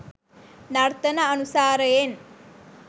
නර්තන අනුසාරයෙන්